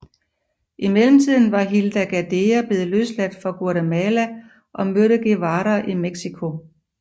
I mellemtiden var Hilda Gadea blevet løsladt fra Guatemala og mødte Guevara i Mexico